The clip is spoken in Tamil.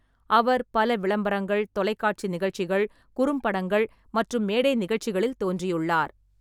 அவர் பல விளம்பரங்கள், தொலைக்காட்சி நிகழ்ச்சிகள், குறும்படங்கள் மற்றும் மேடை நிகழ்ச்சிகளில் தோன்றியுள்ளார்.